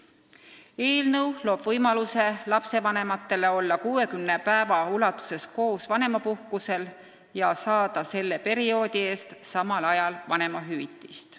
Eelnõu kohaselt luuakse lapsevanematele võimalus olla 60 päeva ulatuses koos vanemapuhkusel ja saada selle perioodi eest samal ajal vanemahüvitist.